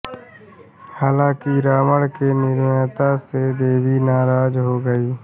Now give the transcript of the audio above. हालांकि रावण की निर्ममता से देवी नाराज हो गईं